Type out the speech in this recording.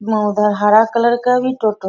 ईमा ऊधर हरा कलर के भी टोटो --